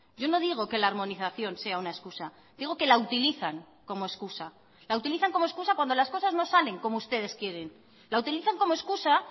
yo no digo que la armonización sea una excusa digo que la utilizan como excusa la utilizan como excusa cuando las cosas no salen como ustedes quieren la utilizan como excusa